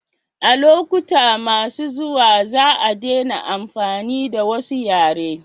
a lokuta mai zuwa za a dena amfani da wasu yare